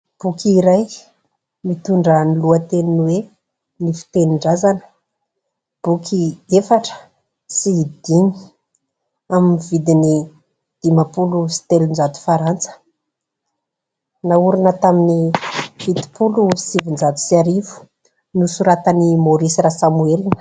Boky iray mitondra ny lohateny hoe : "Ny fitenin-drazana" boky efatra sy dimy amin'ny vidiny dimapolo sy telonjato farantsa. Naorina tamin'ny fitopolo sy sivinjato sy arivo nosoratan'i Maurice Rasamuel.